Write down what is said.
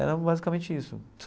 Era basicamente isso.